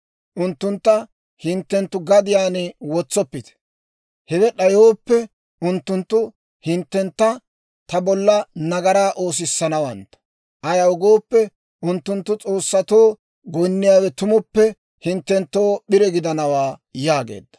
Unttuntta hinttenttu gadiyaan wotsoppite; hewe d'ayooppe unttunttu hinttentta ta bolla nagaraa oosissanawantta; ayaw gooppe, unttunttu s'oossatoo goynniyaawe tumuppe hinttenttoo p'ire gidanawaa» yaageedda.